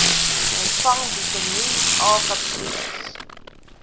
ontvang vitamien akapsules